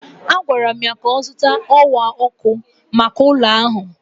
Agwara m ya ka ọ zụta ọwa ọkụ maka ụlọ ahụ.